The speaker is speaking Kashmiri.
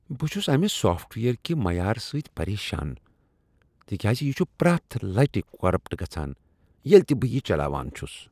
بہٕ چُھس امہ سافٹ ویئر کہِ معیار سۭتۍ پریشان تکیازِ یہ چھ پرٛیتھ لٹہِ کۄرپٹہٕ گژھان ییٚلہِ تہِ بہٕ یہِ چلاوان چُھس۔